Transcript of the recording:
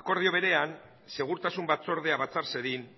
akordio berean segurtasun batzordea batzar zedin